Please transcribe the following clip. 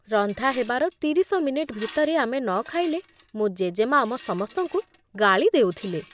ରନ୍ଧା ହେବାର ତିରିଶ ମିନିଟ୍ ଭିତରେ ଆମେ ନ ଖାଇଲେ ମୋ ଜେଜେମା ଆମ ସମସ୍ତଙ୍କୁ ଗାଳି ଦେଉଥିଲେ।